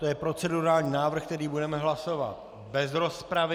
To je procedurální návrh, který budeme hlasovat bez rozpravy.